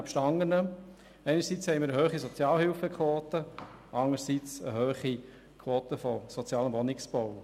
Einerseits haben wir eine hohe Sozialhilfequote und anderseits eine hohe Quote beim sozialen Wohnungsbau.